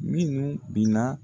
Minnu bin na